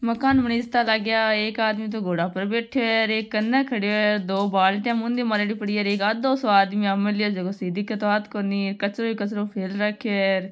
मकान बनीजता लागा एक आदमी तो घोडा पर बैठो है और एक कन खड़ो है दो बाल्टी मूंदी मारेडी पड़ी हैं और एक आधो सो आदमी आ मेल्यो है जाखो दिख तो आत कोनी और कचरों ही कचरों फेल रखो है।